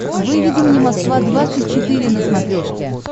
выведи мне москва двадцать четыре на смотрешке